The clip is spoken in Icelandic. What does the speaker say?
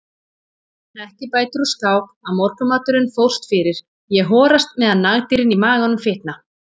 Ekki bætir úr skák að morgunmaturinn fórst fyrir, ég horast meðan nagdýrin í maganum fitna.